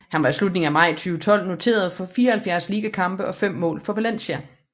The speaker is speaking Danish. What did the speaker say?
Han var i slutningen af maj 2012 noteret for 74 ligakampe og fem mål for Valencia